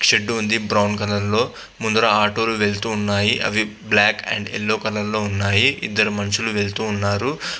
shed ఉన్నది brown colour ముందల ఆటోలు వెళ్తూ ఉన్నాయి అవి బ్లాక్ అండ్ యెల్లో కలర్ లో ఉన్నాయి ఇద్దరు మనుషులు వెళ్తూ ఉన్నారు --